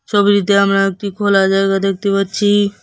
ছবিটিতে আমরা একটা খোলা জায়গা দেখতে পাচ্ছি।